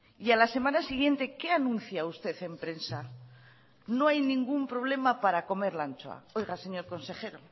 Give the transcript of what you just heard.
y a la semana siguiente qué anuncia usted en prensa no hay ningún problema para comer la anchoa oiga señor consejero